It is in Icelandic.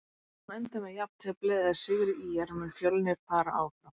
Ef leikurinn endar með jafntefli eða sigri ÍR mun Fjölnir fara áfram.